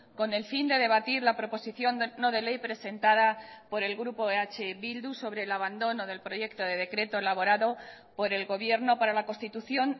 con el fin de debatir la proposición no de ley presentada por el grupo eh bildu sobre el abandono del proyecto de decreto elaborado por el gobierno para la constitución